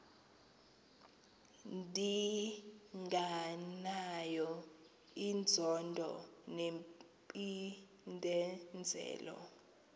ndinganayo inzondo nempindezelo